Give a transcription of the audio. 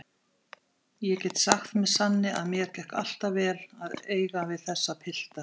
Ég get sagt með sanni að mér gekk alltaf vel að eiga við þessa pilta.